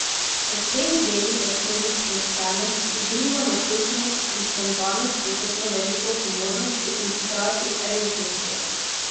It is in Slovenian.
V teh delih je skozi sproščenost, igrivo naključnost in spontanost prisotno veliko humornosti in hkrati resnosti.